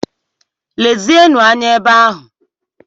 Lezienụ anya ebe ahụ!